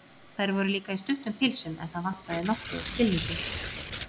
Þær voru líka í stuttum pilsum, en það vantaði nokkuð á skilninginn.